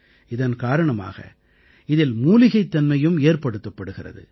இதன் காரணமாக இதில் மூலிகைத் தன்மையும் ஏற்படுத்தப்படுகிறது